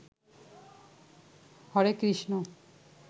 Hare Krishna